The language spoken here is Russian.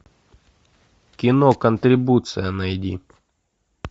кино контрибуция найди